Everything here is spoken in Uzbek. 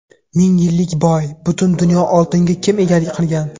Ming yillik boy: butun dunyo oltiniga kim egalik qilgan?.